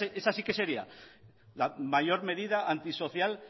esa sí que sería la mayor medida antisocial